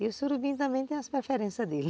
E o surubim também tem as preferências dele.